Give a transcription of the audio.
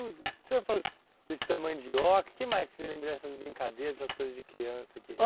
tudo. O senhor falou desse tamanho de oca, o que mais você lembra essas brincadeiras, essas coisas de criança que?